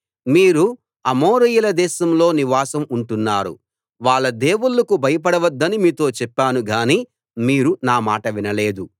మీరు అమోరీయుల దేశంలో నివాసం ఉంటున్నారు వాళ్ళ దేవుళ్ళకు భయపడవద్దని మీతో చెప్పాను గానీ మీరు నా మాట వినలేదు